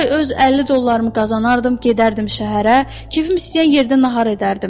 Hər ay öz 50 dollarımı qazanardım, gedərdim şəhərə, kefim istəyən yerdə nahar edərdim.